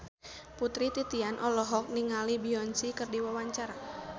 Putri Titian olohok ningali Beyonce keur diwawancara